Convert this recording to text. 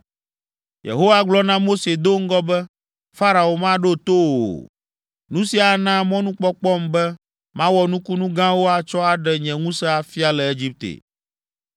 Yehowa gblɔ na Mose do ŋgɔ be, “Farao maɖo to wò o. Nu sia ana mɔnukpɔkpɔm be mawɔ nukunu gãwo atsɔ aɖe nye ŋusẽ afia le Egipte.”